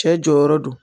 Cɛ jɔyɔrɔ do